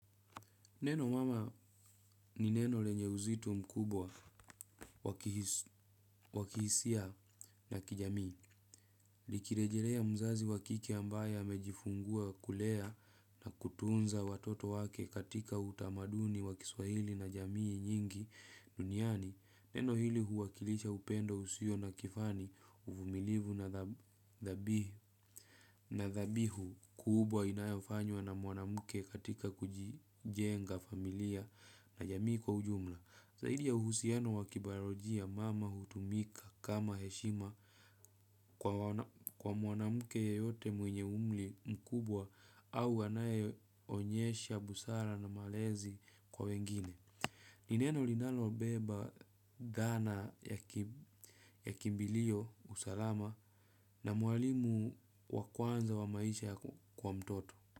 Neno mama ni neno lenye uzito mkubwa wa kihisia na kijamii. Likirejelea mzazi wa kike ambaye amejifungua kulea na kutunza watoto wake katika utamaduni wa kiswahili na jamii nyingi duniani. Neno hili huwakilisha upendo usio na kifani uvumilivu na thabihu. Na thabihu kubwa inayafanywa na mwanamke katika kujenga familia na jamii kwa ujumla. Zaidi ya uhusiano wa kibayolojia mama hutumika kama heshima kwa mwanamke yeyote mwenye umri mkubwa au anayeonyesha busara na malezi kwa wengine. Ni neno linalobeba dhana ya kimbilio usalama na mwalimu wa kwanza wa maisha kwa mtoto.